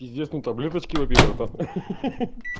известные таблеточки попей братан ха-ха